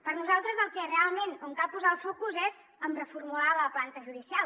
per nosaltres realment on cal posar el focus és en reformular la planta judicial